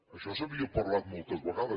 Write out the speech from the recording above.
això s’havia parlat moltes vegades